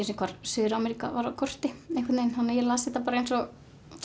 sinni hvar Suður Ameríka var á korti þannig að ég las þetta eins og